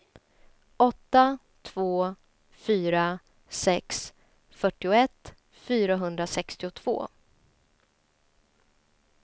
åtta två fyra sex fyrtioett fyrahundrasextiotvå